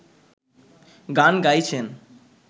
গান গাইছেন